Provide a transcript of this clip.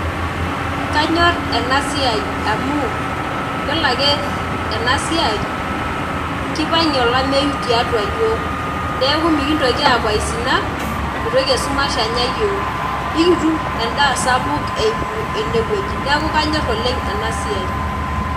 Kanyor enasiai amu, yiolo ake enasiai, kipang'ie olameyu tiatua yiok. Neeku mikintoki aku aisinak, mitoki esumash anya yiok. Ikitum endaa sapuk eimu enewueji. Naku kanyor oleng enasiai.